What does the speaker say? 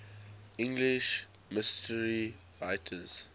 english mystery writers